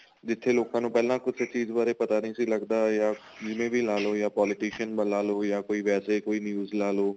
ਜਿੱਥੇ ਲੋਕਾ ਨੂੰ ਪਹਿਲਾਂ ਕੁੱਝ ਚੀਜ਼ ਬਾਰੇ ਪਤਾ ਨਹੀਂ ਸੀ ਲੱਗਦਾ ਜਿਵੇਂ ਵੀ ਲਾਲੋ ਜਾਂ politician ਦਾ ਲਾਲੋ ਜਾਂ ਕੋਈ ਵੈਸੇ ਕੋਈ news ਲਾਲੋ